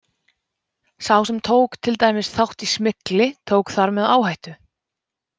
Sá sem tók til dæmis þátt í smygli, tók þar með áhættu.